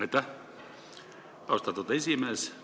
Aitäh, austatud esimees!